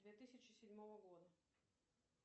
две тысячи седьмого года